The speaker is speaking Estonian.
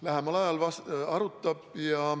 Lähemal ajal arutame.